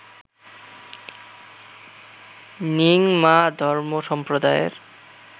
র্ন্যিং মা ধর্ম সম্প্রদায়ের